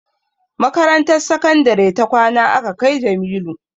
Makarantar sakandare ta kwana aka kai Jamilu